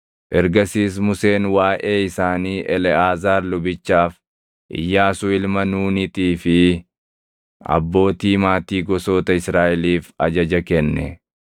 Ergasiis Museen waaʼee isaanii Eleʼaazaar lubichaaf, Iyyaasuu ilma Nuunitii fi abbootii maatii gosoota Israaʼeliif ajaja kenne.